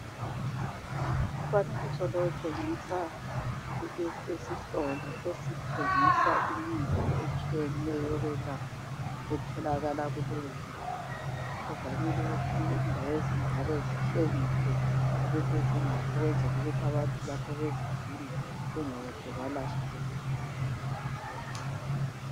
Umfanekiso lo utshengisa isitolo esithengisa imithi etshiyeneyo yokwelapha etholakala kuleyo ndawo. Kuvamile ukuthi indawo ezinjalo zitshengiswe ukuthi zingaphi ukwenzela ukuthi abantu lapho bezidinga bengaze balahleka.